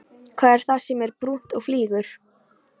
Hvað er það sem er brúnt og flýgur?